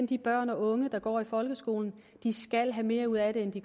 de børn og unge der går i folkeskolen at de skal have mere ud af det end de